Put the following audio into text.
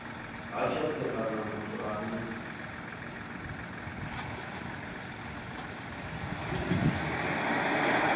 ha tshothe kana muthu ane